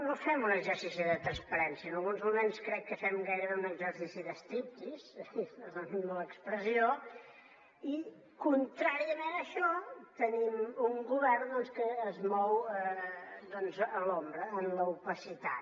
no fem un exercici de transparència en alguns moments crec que fem gairebé un exercici de striptease perdonin l’expressió i contràriament a això tenim un govern que es mou a l’ombra en l’opacitat